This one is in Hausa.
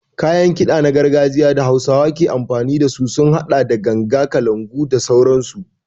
Kayan kiɗa na gargajiya da hausawa ke amfani dasu sun haɗa da ganga, kalangu, goje da sauransu.